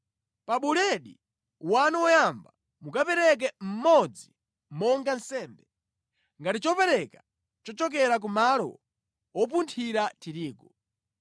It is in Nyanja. Pa buledi wanu woyamba, mukapereke mmodzi monga nsembe, ngati chopereka chochokera ku malo wopunthira tirigu.